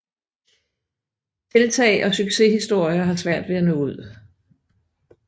Tiltag og succeshistorier har svært ved at nå ud